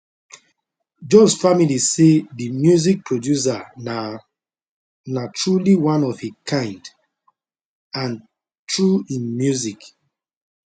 jones family say di music producer na na truly one of a kind and through im music